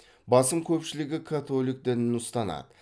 басым көпшілігі католик дінін ұстанады